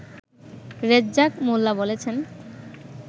রেজ্জাক মোল্লা বলেছেন